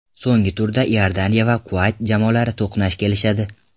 So‘nggi turda Iordaniya va Kuvayt jamoalari to‘qnash kelishadi.